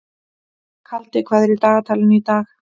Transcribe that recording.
Kaldi, hvað er í dagatalinu í dag?